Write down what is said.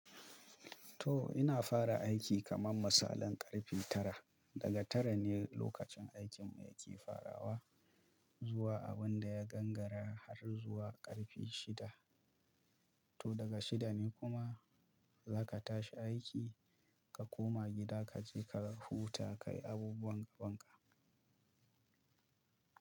To ina fara aiki kaman misalin ƙarfe tara. Daga tara ne lokacin aikinmu yake farawa zuwa abun da ya gangara har zuwa ƙarfe shida. To daga shida ne kuma za ka tashi aiki ka koma gida, ka je ka huta, ka yi abubuwan gabanka.